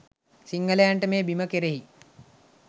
සිංහලයින්ට මේ බිම කෙරෙහි